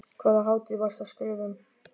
Hvaða hátíð varstu að skrifa um?